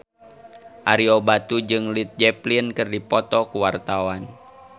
Ario Batu jeung Led Zeppelin keur dipoto ku wartawan